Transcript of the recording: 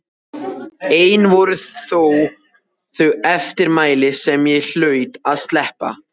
Ein voru þó þau eftirmæli sem ég hlaut að sleppa.